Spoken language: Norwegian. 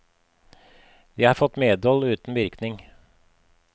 De har fått medhold uten virkning.